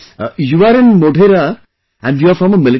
You are in Modhera..., you are from a military family